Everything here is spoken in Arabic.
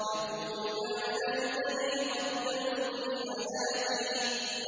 يَقُولُ يَا لَيْتَنِي قَدَّمْتُ لِحَيَاتِي